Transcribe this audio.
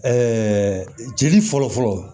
jeli fɔlɔfɔlɔ